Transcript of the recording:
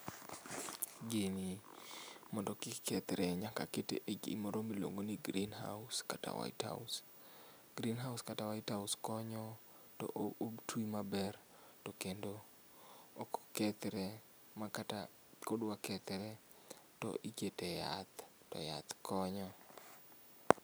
Gini mondo kik kethre nyak akete e gimoro miluongo ni greehouse kata whitehouse. Greenhouse kata whitehouse konyo to otwii maber to kendo ok okethre makata ka odwa kethore to ikete e yath to yath konyo